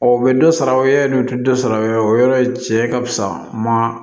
Ɔ u bɛ dɔ sara o ya dɔn o tɛ dɔ sara wa o yɔrɔ in cɛ ka fisa ma